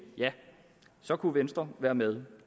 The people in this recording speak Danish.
ja så kunne venstre være med